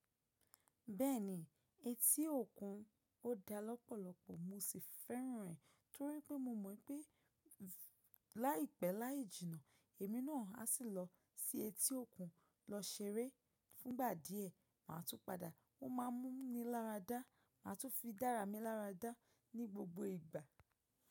Bẹ́ẹ̀ni, etí òkun ó dá lọ́pọ̀lọpọ̀. Mo sì fẹ́ràn rẹ̀ torí pé mo mọ̀ pé láìpẹ́ láì jìnnà, èmi náà á sì lọ sí etí òkun lọ ṣeré. Fún ìgbà díẹ̀, màá tún padà. Wọ́n máa mú mi láradá. Màá tún fi dára mi láradá ní gbogbo ìgbà.